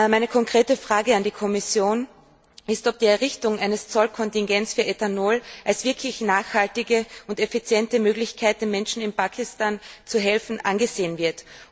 Meine konkrete Frage an die Kommission ist, ob die Errichtung eines Zollkontingents für Ethanol als wirklich nachhaltige und effiziente Möglichkeit, den Menschen in Pakistan zu helfen, angesehen wird.